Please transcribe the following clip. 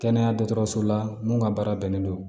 Kɛnɛya dɔgɔtɔrɔso la mun ka baara bɛnnen don